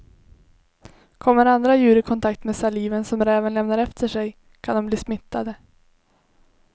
Kommer andra djur i kontakt med saliven som räven lämnar efter sig kan de bli smittade.